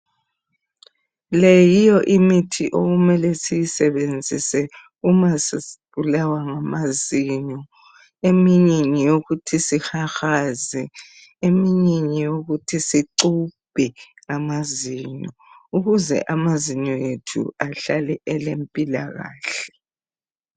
Le yiyo imithi ekumele siyisebenzise uma sesibulawa ngamazinyo. Eminye ngeyokuthi sihahaze. Eminye ngeyokuthi sixubhe amazinyo ukuze amazinyo ethu ahlale elempilakahle.